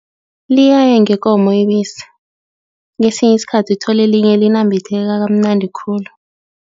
Liyaya ngekomo ibisi, kwesinye isikhathi uthole linye linambitheka kamnandi khulu.